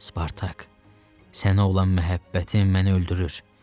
Spartak, sənə olan məhəbbətim məni öldürür.